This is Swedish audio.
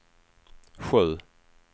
sju